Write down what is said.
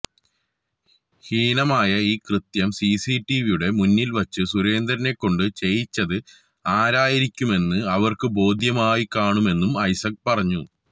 ഹീനമായ ഈ കൃത്യം സിസി ടിവിയുടെ മുന്നിൽവെച്ചു സുരേന്ദ്രനെക്കൊണ്ട് ചെയ്യിച്ചത് ആരായിരിക്കുമെന്ന് അവർക്കു ബോധ്യമായിക്കാണുമെന്നും ഐസക് പറഞ്ഞു